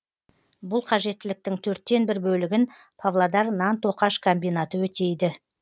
бұл қажеттіліктің төрттен бір бөлігін павлодар нан тоқаш комбинаты өтейді